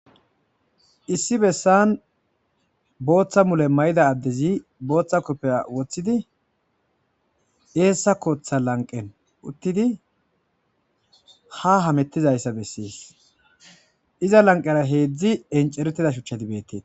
issi bessan booththa mule may7ida addezi booththa koppeya woththidi eessa kooththa lanqen uttidi ha hamettizayssa bessees iza lanqera heedzdzi enceretida shuchchati beettee